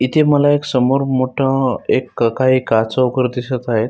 इथे मला एक समोर मोठं एक काही दिसत आहे.